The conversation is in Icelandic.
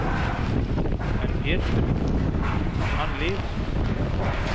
En Pétur, hann lifir.